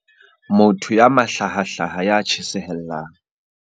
Motho ya mahlahahlaha ya tjhesehellang.